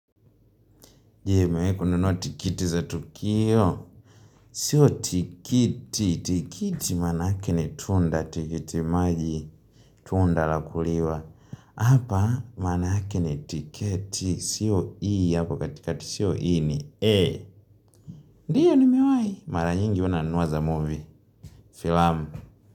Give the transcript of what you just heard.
Je, umewahi kununua tikiti za Tukio. Sio tikiti. Tikiti maana yake ni tunda. Tikiti maji. Tunda la kuliwa. Hapa maana yake ni tiketi. Sio e hapo katika siyo e ni A. Ndio ni mewahi? Mara nyingi huwa nanua za movie. Filamu.